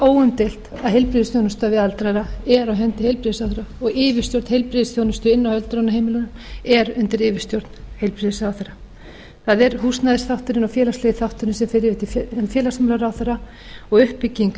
að heilbrigðisþjónusta við aldraða er á hendi heilbrigðisráðherra og yfirstjórn heilbrigðisþjónustu inni á öldrunarheimilum er undir yfirstjórn heilbrigðisráðherra það er húsnæðisþátturinn og félagslegi þátturinn sem fer yfir til féalgsmálaráherra og uppbygging